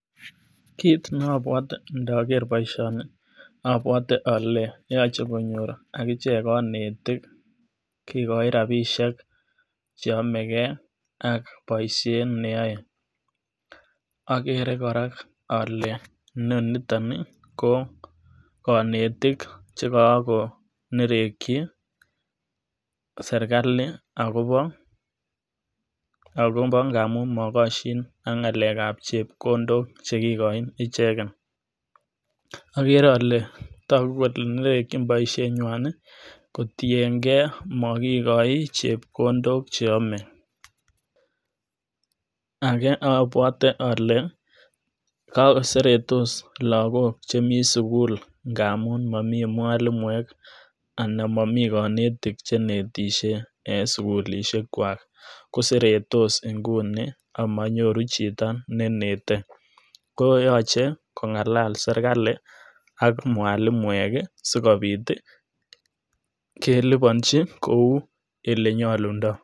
Kit nobwote ndoker boishoni obwote ole yoche konyor akichek konetik kikochi rabishek cheyome gee ak boishet neyoe, okere Koraa ole noniton nii ko konetik chekokonereki serikali akobo ngamu mokoshin AK ngalel AK chepkondok chekikoen icheket. Okere ole toku konereki boishet nywan nii kotiyen gee mokikoi chepkondok cheyome, ake obwote ole ko seretos lokok chemii sukul ngamu momii mwalimuek anan momii konetik chenetishe en sukulishek kwa ko seretos inguni amonyoru chito nenete koyoche kongalal serikali ak mwalimuek kii sikobit tii kelibonji koun olenyolundoo.